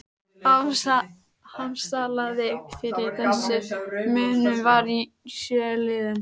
Afsalið fyrir þessum munum var í sjö liðum